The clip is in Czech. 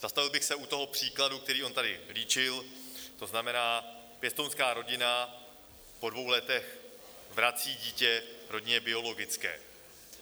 Zastavil bych se u toho příkladu, který on tady líčil, to znamená, pěstounská rodina po dvou letech vrací dítě rodině biologické.